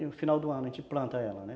No final do ano a gente planta ela, né?